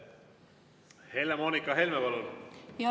Helle‑Moonika Helme, palun!